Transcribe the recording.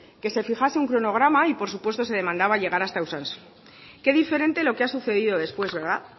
que se fijase un cronograma y por supuesto se demandaba llegar hasta usansolo qué diferente lo que ha sucedido después verdad